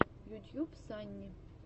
ютьюб санни